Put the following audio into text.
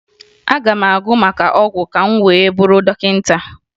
Aga m agụ maka ọgwụ ka m wee bụrụ dọkịta